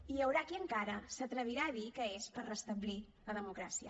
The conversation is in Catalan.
i hi haurà qui encara s’atrevirà a dir que és per restablir la democràcia